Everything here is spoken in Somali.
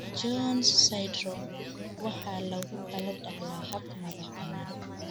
Jones Syndrome waxa lagu kala dhaxlaa hab madax-bannaan.